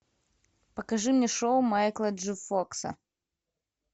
покажи мне шоу майкла джей фокса